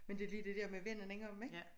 Men det lige det dér med at vende den om ik?